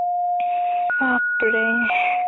বাপৰে